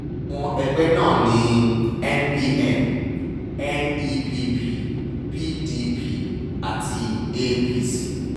àwọn ẹgbẹ́ náà ní npn nepp pdp àti apc